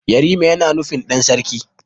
Yarima yana nufin ɗan sarki.